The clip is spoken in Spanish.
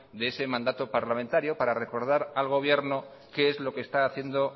de ese mandato parlamentario para recordar al gobierno qué es lo que está haciendo